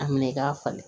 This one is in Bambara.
A minɛ i k'a falen